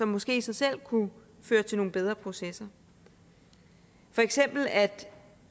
måske i sig selv kunne føre til nogle bedre processer for eksempel at